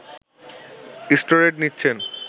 steroid নিচ্ছেন